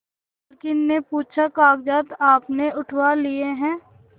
मालकिन से पूछाकागजात आपने उठवा लिए हैं